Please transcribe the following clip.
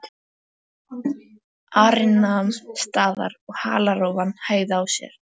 Ari nam staðar og halarófan hægði á sér.